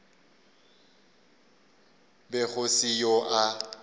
be go se yo a